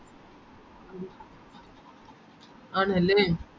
ആണല്ലേ